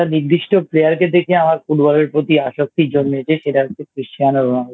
নির্দিষ্ট Player কে দেখে আমার Football এর প্রতি আসক্তি জন্মেছে। সেটা হচ্ছে Christiano Ronaldo